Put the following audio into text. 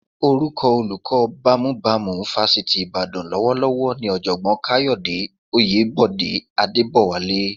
Orúkọ olóko bámúbamù Fásitì Ìbàdàn lọ́wọ́lọ́wọ́ ni Ọ̀jọ̀gbọ́n Káyọ̀dé Oyèbọ̀dé Adébọ̀wálé